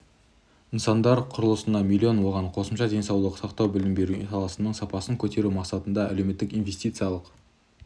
нысандар құрылысына миллион оған қосымша денсаулық сақтау білім беру саласының сапасын көтеру мақсатында әлеуметтік инвестициялық